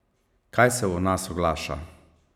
Kaj se v nas oglaša?